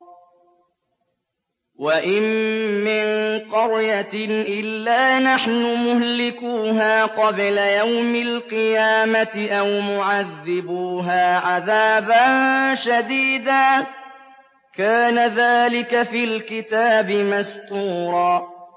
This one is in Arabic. وَإِن مِّن قَرْيَةٍ إِلَّا نَحْنُ مُهْلِكُوهَا قَبْلَ يَوْمِ الْقِيَامَةِ أَوْ مُعَذِّبُوهَا عَذَابًا شَدِيدًا ۚ كَانَ ذَٰلِكَ فِي الْكِتَابِ مَسْطُورًا